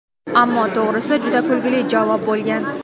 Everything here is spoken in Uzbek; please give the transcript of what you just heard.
Ammo to‘g‘risi, juda kulgili javob bo‘lgan.